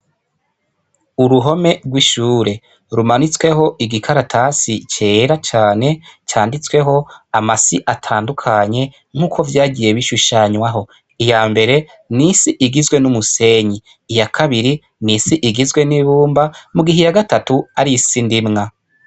Uruhome rw'ishure, rumanitsweho igikaratasi cera cane, canditsweho amasi atandukanye nk'uko vyagiye bishushanywaho. Iyambere, n'isi igizwe n'umusenyi; Iya kabiri n'isi igizwe n'ibumba, mugihe iya gatatu ari isi ndimwa.